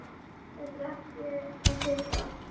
Þetta er ekki að sigra.